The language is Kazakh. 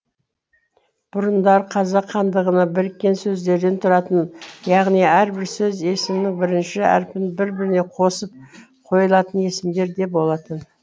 бұрындары қазақ халқында біріккен сөздерден тұратын яғни әрбір сөз есімнің бірінші әрпін бір біріне қосып қойылатын есімдер де болатын